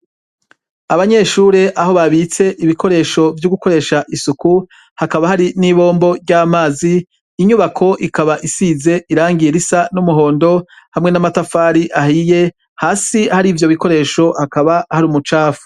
Abanyeshure aho babitse ibikoresho vyo gukoresha isuku hakaba hari kibombo ryamazi inyubako ikaba isize irangi risa niry'umuhondo, hamwe n'amatafari ahiye hasi hari ivyo bikoresho hakaba hari umucafu.